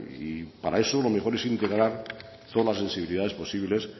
y para eso lo mejor es integrar son sensibilidades posibles